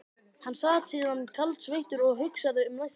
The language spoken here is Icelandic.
Hann sat síðan kaldsveittur og hugsaði um næsta skref.